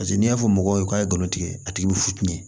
Paseke n'i y'a fɔ mɔgɔw ye k'a ye galon tigɛ a tigi be fucinɛ